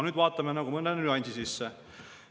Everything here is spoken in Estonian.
Vaatame mõne nüansi sisse.